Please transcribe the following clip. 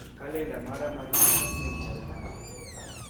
Kalenda mara mar juma manyien chal nade.